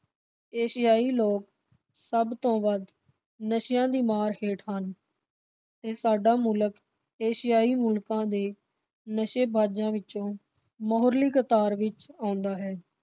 ਏਸ਼ੀਆਈ ਲੋਕ ਸਭ ਤੋਂ ਵੱਧ ਨਸ਼ਿਆਂ ਦੀ ਮਾਰ ਹੇਠ ਹਨ ਤੇ ਸਾਡਾ ਮੁਲਕ ਏਸ਼ੀਆਈ ਮੁਲਕ ਦੇ ਨਸ਼ੇਬਾਜਾਂ ਵਿਚੋਂ ਮੁਹਰਲੀ ਕਤਾਰ ਵਿਚ ਆਉਂਦਾ ਹੈ।